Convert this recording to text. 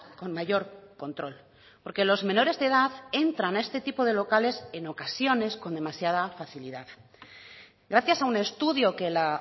con mayor control porque los menores de edad entran a este tipo de locales en ocasiones con demasiada facilidad gracias a un estudio que la